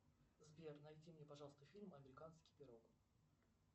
сбер найди мне пожалуйста фильм американский пирог